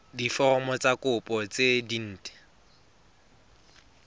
diforomo tsa kopo tse dint